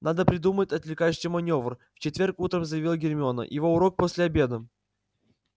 надо придумать отвлекающий манёвр в четверг утром заявила гермиона его урок после обеда